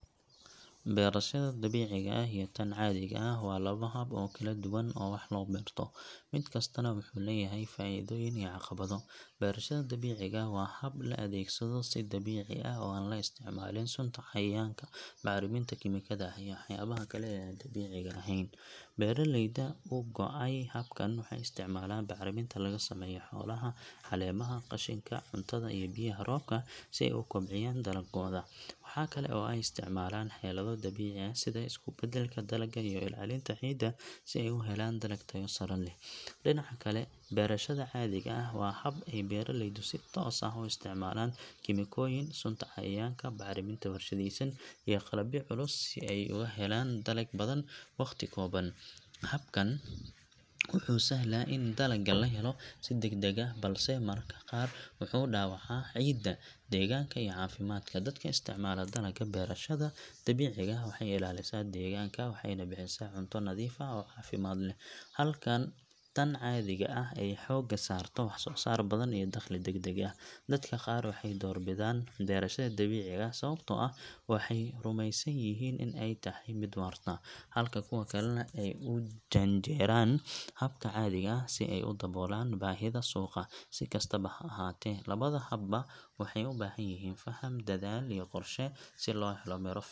Beerashada dabiiciga ah iyo tan caadiga ah waa laba hab oo kala duwan oo wax loo beerto, mid kastana wuxuu leeyahay faa’iidooyin iyo caqabado. Beerashada dabiiciga ah waa hab la adeegsado si dabiici ah oo aan la isticmaalin sunta cayayaanka, bacriminta kiimikada ah iyo waxyaabaha kale ee aan dabiiciga ahayn. Beeraleyda u go’ay habkan waxay isticmaalaan bacriminta laga sameeyo xoolaha, caleemaha, qashinka cuntada iyo biyaha roobka si ay u kobciyaan dalaggooda. Waxa kale oo ay isticmaalaan xeelado dabiici ah sida isku beddelka dalagga iyo ilaalinta ciidda si ay u helaan dalag tayo sare leh. Dhinaca kale, beerashada caadiga ah waa hab ay beeraleydu si toos ah u isticmaalaan kiimikooyin, sunta cayayaanka, bacriminta warshadaysan iyo qalabyo culus si ay uga helaan dalag badan waqti kooban. Habkani wuxuu sahlaa in dalagga la helo si degdeg ah, balse mararka qaar wuxuu dhaawacaa ciidda, deegaanka iyo caafimaadka dadka isticmaala dalagga. Beerashada dabiiciga ah waxay ilaalisaa deegaanka, waxayna bixisaa cunto nadiif ah oo caafimaad leh, halka tan caadiga ah ay xoogga saarto wax-soo-saar badan iyo dakhli degdeg ah. Dadka qaar waxay door bidaan beerashada dabiiciga ah sababtoo ah waxay rumaysan yihiin in ay tahay mid waarta, halka kuwa kalena ay u janjeeraan habka caadiga ah si ay u daboolaan baahida suuqa. Si kastaba ha ahaatee, labada habba waxay u baahan yihiin faham, dadaal iyo qorshe si loo helo midho fiican.